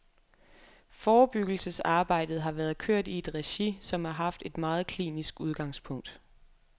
Forebyggelsesarbejdet har været kørt i et regi, som har haft et meget klinisk udgangspunkt.